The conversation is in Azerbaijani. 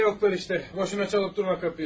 Nə də yoxdular işte, boşuna çalıb durmaq qapıyı.